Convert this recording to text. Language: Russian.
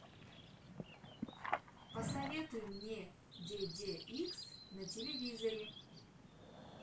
посоветуй мне де де икс на телевизоре